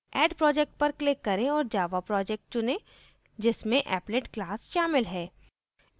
add project पर click करें और java project चुनें जिसमें applet class शामिल है